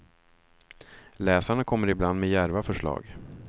Läsarna kommer ibland med djärva förslag.